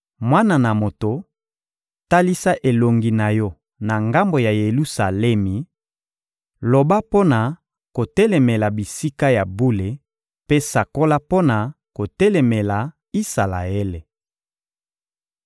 «Mwana na moto, talisa elongi na yo na ngambo ya Yelusalemi, loba mpo na kotelemela bisika ya bule mpe sakola mpo na kotelemela Isalaele.